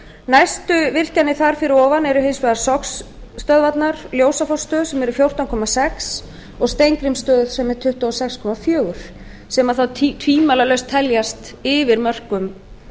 næstu virkjanir þar fyrir ofan eru hins vegar sogsstöðvarnar ljósafossstöð sem eru fjórtán komma sex og steingrímsstöð sem er tuttugu og sex komma fjögur sem þá tvímælalaust teljast yfir mörkum